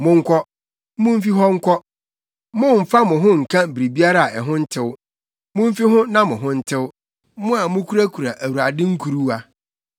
Monkɔ. Mumfi hɔ nkɔ! Mommfa mo ho nnka biribiara a ho ntew. Mumfi ho na mo ho ntew, mo a mukurakura Awurade nkuruwa.